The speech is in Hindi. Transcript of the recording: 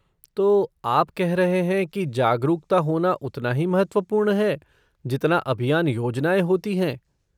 तो, आप कह रहे है कि जागरूकता होना उतना ही महत्वपूर्ण है जितना अभियान योजनाएँ होती हैं?